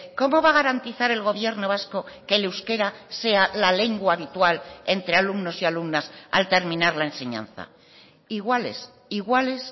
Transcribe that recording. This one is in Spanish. cómo va a garantizar el gobierno vasco que el euskera sea la lengua habitual entre alumnos y alumnas al terminar la enseñanza iguales iguales